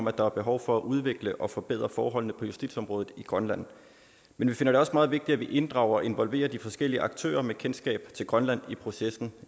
at der er behov for at udvikle og forbedre forholdene på justitsområdet i grønland men vi finder det også meget vigtigt at vi inddrager og involverer de forskellige aktører med kendskab til grønland